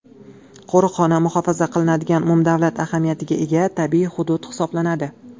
Qo‘riqxona muhofaza qilinadigan umumdavlat ahamiyatiga ega tabiiy hudud hisoblanadi.